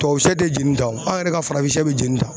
Tubabu sɛ te jeni tan wo , an yɛrɛ ka farafin sɛ be jeni tan